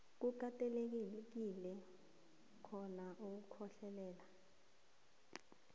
ukatelelekile kobana ukhohlelele